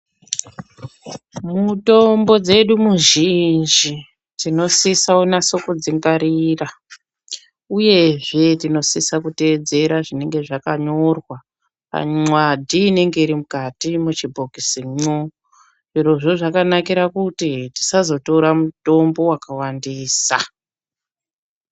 Mutombo dzedu muzhinji tinosisa kunasa kudzingwarira, uyezve tinosisa kuteedzera zvinonga zvakanyorwa panxwadhi inenge iri mukati muchibhokisimwo. Zvirozvo zvakanakira kuti ,tisazotora mutombo wakawandisa.